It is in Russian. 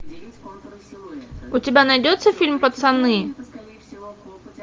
у тебя найдется фильм пацаны